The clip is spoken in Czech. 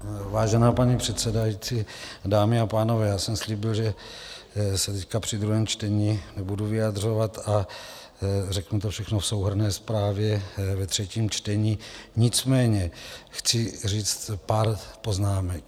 Vážená paní předsedající, dámy a pánové, já jsem slíbil, že se teď při druhém čtení nebudu vyjadřovat a řeknu to všechno v souhrnné zprávě ve třetím čtení, nicméně chci říct pár poznámek.